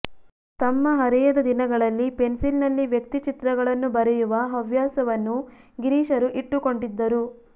ತಮ್ಮ ಹರೆಯದ ದಿನಗಳಲ್ಲಿ ಪೆನ್ಸಿಲ್ ನಲ್ಲಿ ವ್ಯಕ್ತಿಚಿತ್ರಗಳನ್ನು ಬರೆಯುವ ಹವ್ಯಾಸವನ್ನು ಗಿರೀಶರು ಇಟ್ಟುಕೊಂಡಿದ್ದರು